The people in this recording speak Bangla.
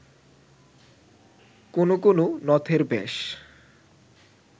কোন কোন নথের ব্যাস